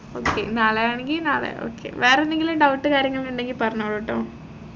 okay നാളെയാണെങ്കി നാളെ okay വേറെന്തെങ്കിലും doubt കാര്യങ്ങൾ ഉണ്ടെങ്കിൽ പറഞ്ഞോളുട്ടോ